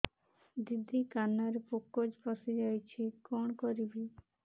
ଦିଦି କାନରେ ପୋକ ପଶିଯାଇଛି କଣ କରିଵି